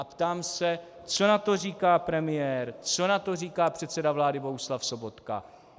A ptám se, co na to říká premiér, co na to říká předseda vlády Bohuslav Sobotka?